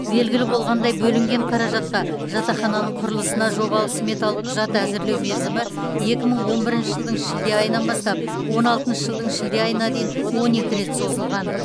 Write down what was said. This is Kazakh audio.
белгілі болғандай бөлінген қаражатқа жатақхананың құрылысына жобалық сметалық құжат әзірлеу мерзімі екі мың он бірінші жылдың шілде айынан бастап он алтыншы жылдың шілде айына дейін он екі рет созылған